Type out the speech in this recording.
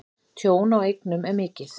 Tjón á eignum er mikið.